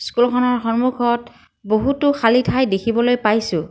স্কুলখনৰ সমুখত বহুতো খালী ঠাই দেখিবলৈ পাইছোঁ।